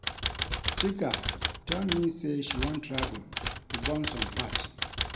Chika tell me say she wan travel to burn some fat